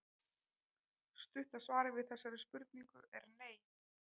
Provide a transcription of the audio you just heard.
Stutta svarið við þessari spurningu er nei.